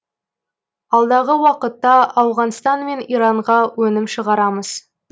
алдағы уақытта ауғанстан мен иранға өнім шығарамыз